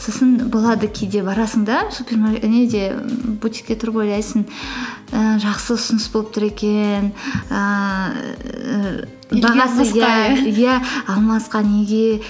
сосын болады кейде барасың да неде бутикте тұрып ойлайсың ііі жақсы ұсыныс болып тұр екен ііі иә алмасқа неге